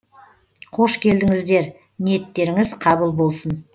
қош келдіңіздер ниеттеріңіз қабыл болсын